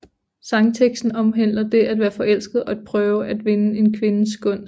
Sangteksten omhandler det at være forelsket og at prøve at vinde en kvindes gunst